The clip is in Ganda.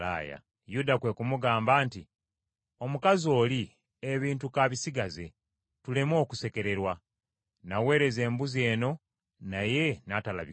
Yuda kwe kumugamba nti, “Omukazi oli, ebintu k’abisigaze tuleme okusekererwa, naweereza embuzi eno, naye n’atalabikako.”